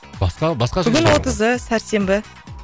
басқа басқа бүгін отызы сәрсенбі